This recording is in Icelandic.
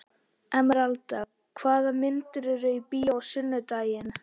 Emeralda, hvaða myndir eru í bíó á sunnudaginn?